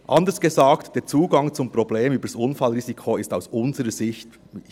Anders gesagt: Der Zugang zum Problem über das Unfallrisiko ist aus unserer Sicht gesucht.